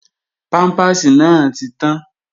Pámpàsì náà ti tán